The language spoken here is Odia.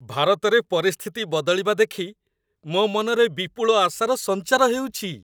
ଭାରତରେ ପରିସ୍ଥିତି ବଦଳିବା ଦେଖି ମୋ ମନରେ ବିପୁଳ ଆଶାର ସଞ୍ଚାର ହେଉଛି।